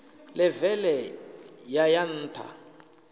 ḽeve ḽe ya ya nṱha